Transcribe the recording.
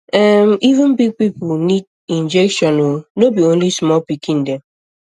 ehm even big people um need um injection o no be only small pikin dem